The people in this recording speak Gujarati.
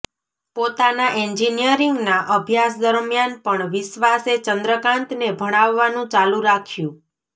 પોતાના એન્જિનિયરીંગના અભ્યાસ દરમ્યાન પણ વિશ્ર્વાસે ચંદ્રકાંતને ભણાવવાનું ચાલુ રાખ્યું